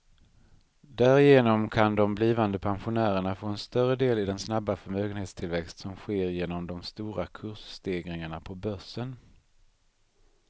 Därigenom kan de blivande pensionärerna få en större del i den snabba förmögenhetstillväxt som sker genom de stora kursstegringarna på börsen.